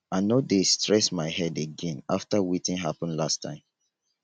i no dey like stress my head again after wetin happen last time